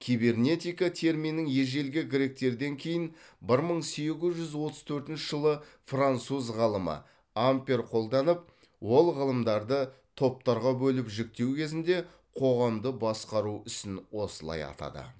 кибернетика терминін ежелгі гректерден кейін бір мың сегіз жүз отыз төртінші жылы француз ғалымы ампер қолданып ол ғылымдарды топтарға бөліп жіктеу кезінде қоғамды басқару ісін осылай атады